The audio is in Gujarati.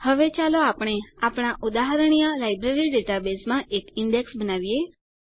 હવે ચાલો આપણે આપણા ઉદાહરણીય લાઈબ્રેરી ડેટાબેઝમાં એક ઈન્ડેક્સ બનાવીએ